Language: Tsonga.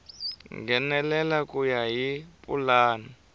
nghenelela ku ya hi pulani